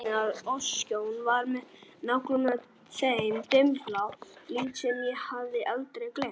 Nafnið á öskjunni var með nákvæmlega þeim dimmbláa lit sem ég hafði aldrei gleymt.